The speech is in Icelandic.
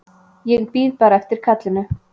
Ég bíð bara eftir kallinu.